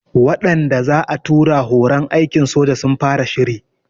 Waɗanda za'a tura horon aikin soja sun fara shiri